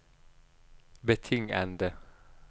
betingede